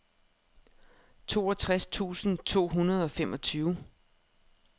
toogtres tusind to hundrede og femogtyve